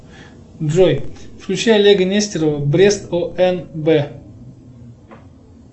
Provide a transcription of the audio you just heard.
джой включи олега нестерова брест онб